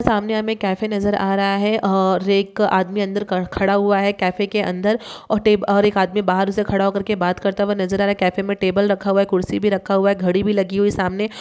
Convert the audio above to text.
सामने हमे कैफै नजर आ रहा है अ और एक आदमी अंदर क खड़ा हुआ है कैफै के अंदर अ और एक आदमी बाहर से खड़ा बात करता हुआ नजर आ रहा कैफै मे टेबल रखा हुआ है कुर्सी भी रखा हुआ है घड़ी भी लगी हुई है सामने |